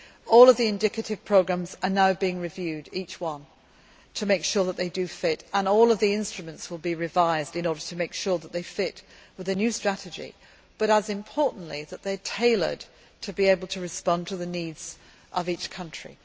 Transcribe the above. All of the indicative programmes are now being reviewed to make sure that they fit, and all of the instruments will be revised in order to make sure that they fit with the new strategy and, just as importantly, that they are tailored to be able to respond to the needs of each country.